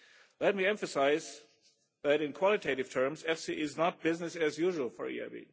Let me emphasise that in quantitative terms EFSI is not business as usual for the EIB.